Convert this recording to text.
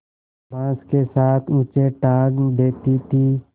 बाँस के साथ ऊँचे टाँग देती थी